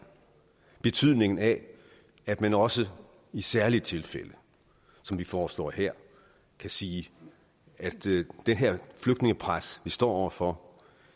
betydningen af at man også i særlige tilfælde som vi foreslår her kan sige at det her flygtningepres vi står over for